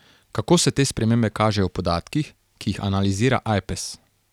Kako se te spremembe kažejo v podatkih, ki jih analizira Ajpes?